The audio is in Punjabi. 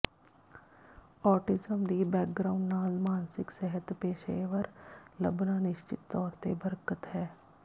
ਔਟਿਜ਼ਮ ਦੀ ਬੈਕਗਰਾਊਂਡ ਨਾਲ ਮਾਨਸਿਕ ਸਿਹਤ ਪੇਸ਼ੇਵਰ ਲੱਭਣਾ ਨਿਸ਼ਚਤ ਤੌਰ ਤੇ ਬਰਕਤ ਹੈ